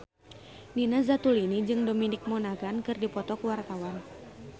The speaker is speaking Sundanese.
Nina Zatulini jeung Dominic Monaghan keur dipoto ku wartawan